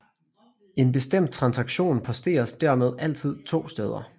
En bestemt transaktion posteres dermed altid to steder